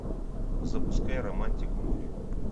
запускай романтик муви